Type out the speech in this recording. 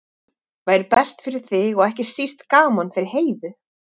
Það væri best fyrir þig og ekki síst gaman fyrir Heiðu.